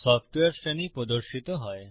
software শ্রেণী প্রদর্শিত হয়